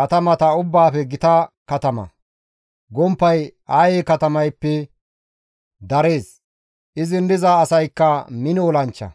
katamata ubbaafe gita katama; gomppay Aye katamayppe darees; izin diza asaykka mino olanchcha.